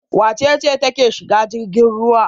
Wace ce take shiga jirgin ruwa?